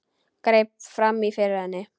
Greip fram í fyrir henni.